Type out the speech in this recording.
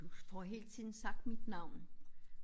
Du får hele tiden sagt mit navn